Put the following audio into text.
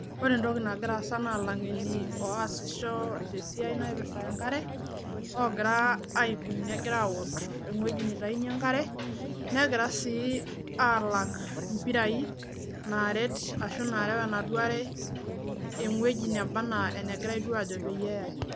ore entoki nagira aasa naa ilangeni ooudu enkare negira sii aapik impapi meterewa enaduoo wueji naifaa neyae enaduoo are